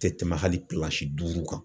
Tɛ tɛmɛ hali kilasi duuru kan.